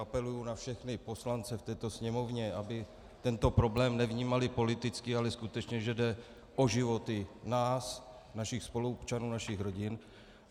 Apeluji na všechny poslance v této Sněmovně, aby tento problém nevnímali politicky, ale skutečně že jde o životy nás, našich spoluobčanů, našich rodin.